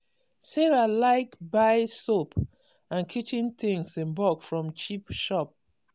sarah like buy soap and kitchen things in bulk from cheap shop.